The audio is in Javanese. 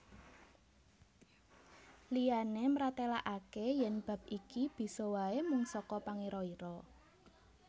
Liyané mratélakaké yèn bab iki bisa waé mung saka pangira ira